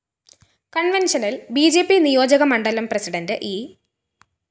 കണ്‍വെന്‍ഷനില്‍ B J P നിയോജകമണ്ഡലം president E